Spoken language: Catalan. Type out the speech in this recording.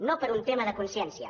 no per un tema de consciència